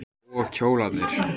Og kjólarnir.